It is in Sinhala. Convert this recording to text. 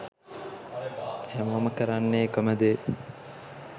හැමෝම කරන්නෙ එකම දේ.